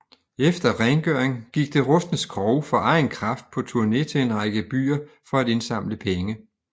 Efter rengøring gik det rustne skrog for egen kraft på turné til en række byer for at indsamle penge